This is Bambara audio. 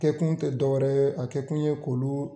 Kɛkun te dɔwɛrɛ ye a kɛkun ye k'olu